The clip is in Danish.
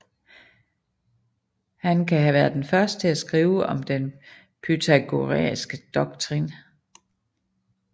Han kan have været den første til at skrive om den pythagoræske doktrin